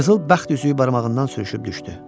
Qızıl bəxt üzüyü barmağından sürüşüb düşdü.